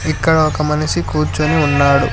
ఇక్కడ ఒక మనిషి కూర్చుని ఉన్నాడు.